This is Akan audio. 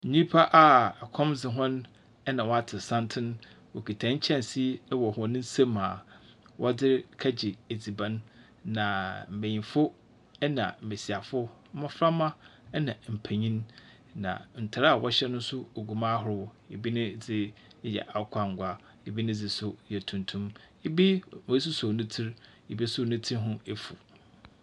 Nipa a ɛkɔm de wɔn ɛna wato santene. Wɔkita nkyɛnsee ɛwɔ wɔn nsa mu a wɔde kɔgye adziban na mpaninfo ɛna mmasiwafo, mmɔfra mma ɛna mpanyin. Na ntaade a wɔhyɛ no nso gugu mu ahodoɔ; ebi ne deɛ akwankwaa ebi ne deɛ so yɛ tumtum ebi w'asosɔ ne tiri ebi nso ne tiri ho afu.